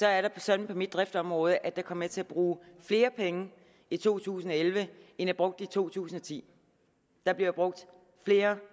er det sådan på mit driftsområde at jeg kommer til at bruge flere penge i to tusind og elleve end jeg brugte i to tusind og ti der bliver brugt flere